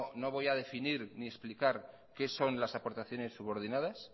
no voy a definir ni explicar qué son las aportaciones subordinadas